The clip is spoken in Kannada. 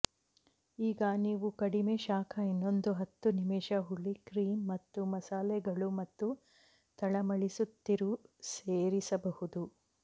ಈಗ ನೀವು ಕಡಿಮೆ ಶಾಖ ಇನ್ನೊಂದು ಹತ್ತು ನಿಮಿಷ ಹುಳಿ ಕ್ರೀಮ್ ಮತ್ತು ಮಸಾಲೆಗಳು ಮತ್ತು ತಳಮಳಿಸುತ್ತಿರು ಸೇರಿಸಬಹುದು